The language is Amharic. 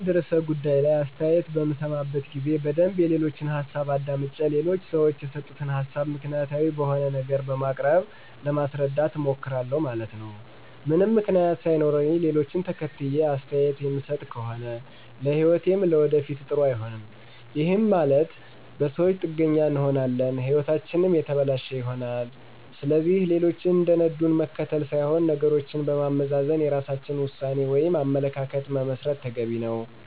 በአንድ ርዕሠ ጉዳይ ላይ አሥተያየት በምሠማበት ጊዜ በደንብ የሌሎችን ሀሣብ አዳምጨ ሌሎች ሠወች የሰጡትን ሀሣብ ምክንያታዊ በሆነ ነገር በማቅረብ ለማሥረዳት እሞክራሁ ማለት ነው። ምንም ምክንያት ሣይኖረኝ ሌሎችን ተከትየ አስተያየት ምሠጥ ከሆነ ለህይወቴም ለወደፊት ጥሩ አይሆንም፤ ይህም ማለት በሠወች ጥገኛ እንሆናለን ህይወታችንም የተበለሸ ይሆናል። ስለዚህ ሌሎች እንደነዱን መከተል ሥይሆን ነገሮችን በማመዛዘን የራሳችን ውሣኔ ወይም አመለካከት መመስረት ተገቢ ነው።